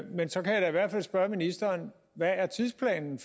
men så kan jeg da i hvert fald spørge ministeren hvad tidsplanen